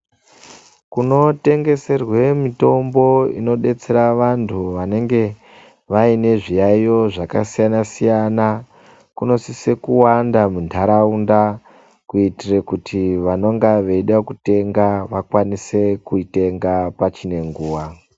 Kunotengeserwe mitombo inodetsere vantu vanenge vaine zviyaiyo zvakasiyana-siyana, kunosise kuwanda mundaraunda kuitire kuti vanenga veida kuitenga vakwanise kuitenga pachine nguva.